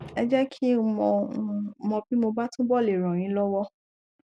ẹ jẹ kí n mọ n mọ bí mo bá túbọ le ràn yín lọwọ